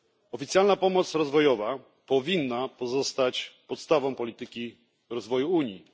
Oficjalna pomoc rozwojowa powinna pozostać podstawą polityki rozwoju Unii.